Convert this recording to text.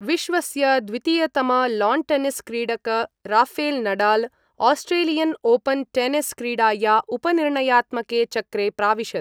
विश्वस्य द्वितीयतम लॉनटेनिस क्रीडक Rafael Nadal Australian Open tennis क्रीडाया उपनिर्णयात्मके चक्रे प्राविशत्।